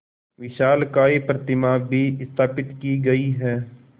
विशालकाय प्रतिमा भी स्थापित की गई है